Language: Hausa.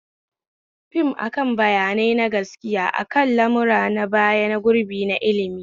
Fim akan bayanai na gaskiya akan lamuran baya na gurbi na ilmi